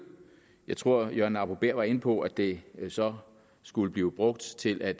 jeg tror at herre jørgen arbo bæhr var inde på at det så skulle blive brugt til at